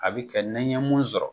A bi kɛ nɛ ɲɛ mun sɔrɔ.